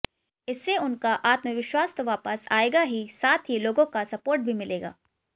इससे उनका आत्मविश्वास तो वापस आएगा ही साथ ही लोगों का सपोर्ट भी मिलेगा